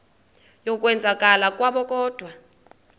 yokwenzakala kwabo kodwa